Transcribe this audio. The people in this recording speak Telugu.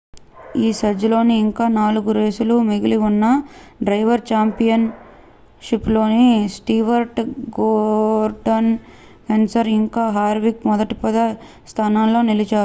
ఈ సీజన్లో ఇంకా నాలుగు రేసులు మిగిలి ఉన్నా డ్రైవర్స్ ఛాంపియియన్ షిప్లో స్టీవర్ట్ గోర్డాన్ కెన్సేత్ ఇంకా హార్విక్ మొదటి పది స్థానాలలో నిలిచారు